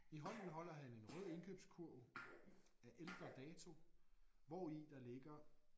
I hånden holder han en rød indkøbskurv af ældre dato hvori der ligger